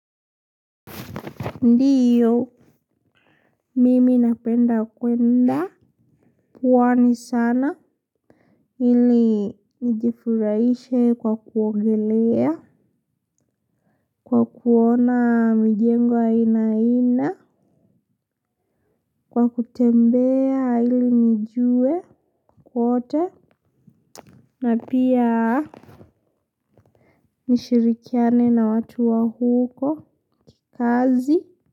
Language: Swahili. Ndiyo, mimi napenda kwenda, pwani sana, ili nijifuraishe kwa kuongelea, kwa kuona mijengo aina aina, kwa kutembea ili nijue kwote, na pia nishirikiane na watu wa huko kikazi.